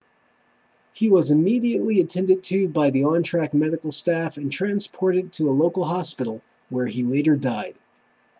he was immediately attended to by the on-track medical staff and transported to a local hospital where he later died